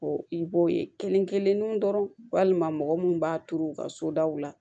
Ɔ i b'o ye kelen kelen dɔrɔn walima mɔgɔ minnu b'a turu u ka so daw la